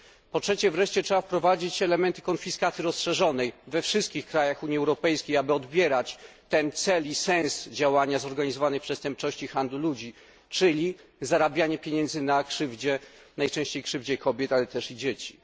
Po trzecie wreszcie, trzeba wprowadzić elementy konfiskaty rozszerzonej we wszystkich krajach Unii Europejskiej, aby odbierać ten cel i sens działania zorganizowanej przestępczości handlu ludźmi, czyli zarabianie pieniędzy na krzywdzie, najczęściej krzywdzie kobiet, ale też i dzieci.